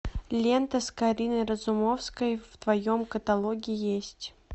лента с кариной разумовской в твоем каталоге есть